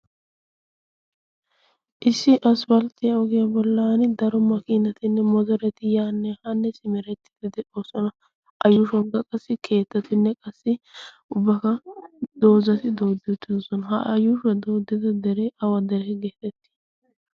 Issi aspalttiyaa ogiya bollani daro makinattinne motoretti yaanne haanne simerettidi de'ossona. A ushshunikka keettatinne qassi ubakka doozatti dooddi uttidossona. Ha a yushshuwani dooddida deree awa deriyaa geetteti?